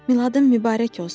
Miladın mübarək olsun.